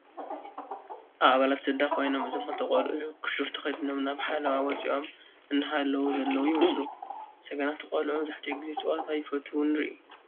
ካብ ኣባላት ስድራ ኮይኖም እእዞም 2ተ ቆልዑ ከሹፍ ተከዲኖም ናብ ሓለዋ ወፂኦም እንሓላው ዘለው ይመስሉ። ሰገናት ቆልዑ መብዛሕቲኡ ግዜ ፀወታ ይፈትው ንሪኢ።